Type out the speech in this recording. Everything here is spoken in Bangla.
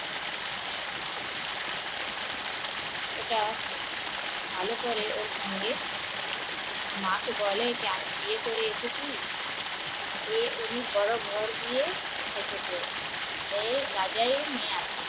ওটা ভালো করে ওর সঙ্গে মা কে বলে আমি বিয়ে করে এসেছি এ উনি বড়ো ঘর থেকে এসেছে ও রাজার মেয়ে আছে